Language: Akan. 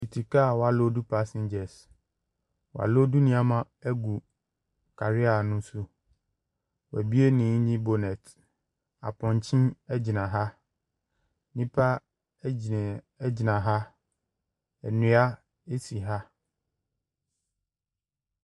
Tete ka wɔaloodu passengers, wɔaloodu nneɛma gu carrier ne so, woabue ne engine bonnet. Apɔnkye gyina ha, nnipa gyina gyina ha, nnua si ha.